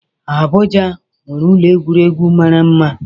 Abuja nwere ụlọ egwuregwu mara mma